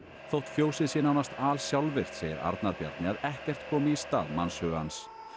þótt fjósið sé nánast segir Arnar Bjarni að ekkert komi í stað mannshugans